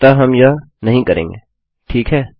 अतः हम यह नहीं करेंगे ठीक है